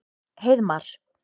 Heiðmar